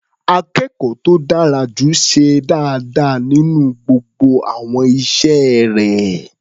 Akẹ́kọ̀ọ́ tó dára jù ṣe dáadáa nínú gbogbo àwọn iṣẹ́ rẹ̀.